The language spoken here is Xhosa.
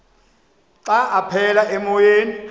xa aphekela emoyeni